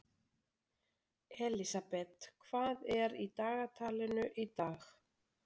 Elísabet, hvað er í dagatalinu í dag?